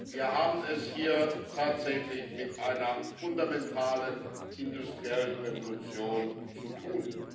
Wir haben es hier tatsächlich mit einer fundamentalen industriellen Revolution zu tun.